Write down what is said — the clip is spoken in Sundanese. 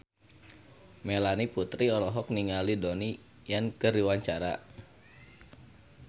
Melanie Putri olohok ningali Donnie Yan keur diwawancara